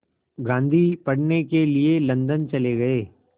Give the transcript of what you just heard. गांधी पढ़ने के लिए लंदन चले गए